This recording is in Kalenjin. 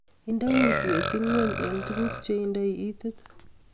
Indee kutweet ingweny eng tuguk cheindai itiit